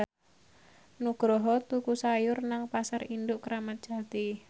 Nugroho tuku sayur nang Pasar Induk Kramat Jati